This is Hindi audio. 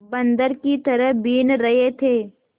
बंदर की तरह बीन रहे थे